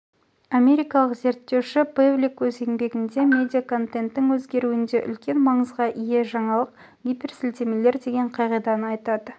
америкалық зерттеуші пэвлик өз еңбегінде медиа контенттің өзгеруінде үлкен маңызға ие жаңалық гиперсілтемелер деген қағиданы айтады